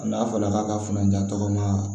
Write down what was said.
N'a fɔra k'a ka funanjan tɔgɔa